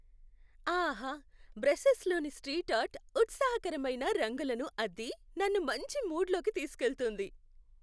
ఆహా! బ్రస్సెల్స్లోని street art ఉత్సాహకరమైన రంగులను అద్ది నన్ను మంచి మూడ్లోకి తీసుకెళుతుంది.